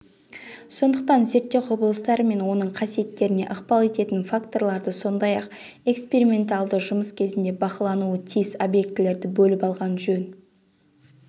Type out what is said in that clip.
сондықтан зерттеу құбылыстары мен оның қасиеттеріне ықпал ететін факторларды сондай-ақ эксперименталды жұмыс кезінде бақылануы тиіс объектілерді бөліп алған жөн